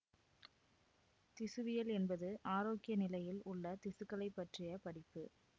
திசுவியல் என்பது ஆரோக்கிய நிலையில் உள்ள திசுக்களைப் பற்றிய படிப்பு